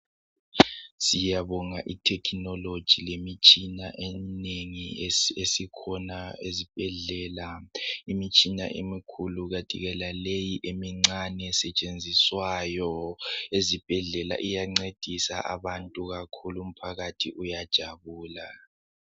Siyabonga I technology lemitshina esikhona ezibhedlela , imitshina emikhulu kathi ke laleyi emincane esetshenziswayo ezibhedlela iyancedisa abantu kakhulu umphakathi uyajabula